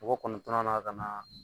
Mɔgɔ kɔnɔntɔnnan na ka na